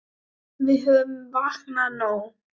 Við höfum vakað nóg.